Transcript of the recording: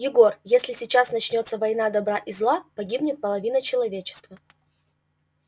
егор если сейчас начнётся война добра и зла погибнет половина человечества